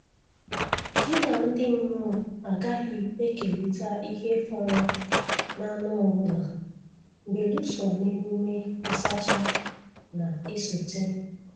Gị na ndị mmụọ agaghị ekerịta ihe fọrọ n'anụ ọbụla belụsọ n'emume nsacha na-esote.